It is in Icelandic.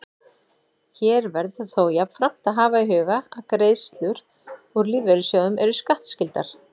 Hér verður þó jafnframt að hafa í huga að greiðslur úr lífeyrissjóðum eru skattskyldar.